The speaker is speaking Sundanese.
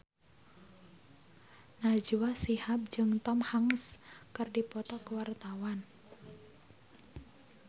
Najwa Shihab jeung Tom Hanks keur dipoto ku wartawan